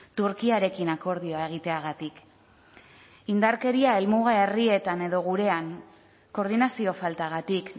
turkiarekin akordioa egiteagatik indarkeria helmuga herrietan edo gurean koordinazio faltagatik